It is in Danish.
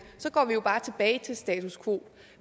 går vi jo bare tilbage til status quo